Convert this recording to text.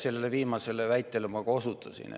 Sellele viimasele väitele ma ka osutasin.